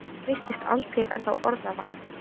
Honum virtist aldrei verða orða vant.